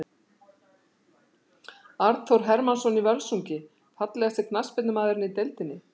Arnþór Hermannsson í Völsungi Fallegasti knattspyrnumaðurinn í deildinni?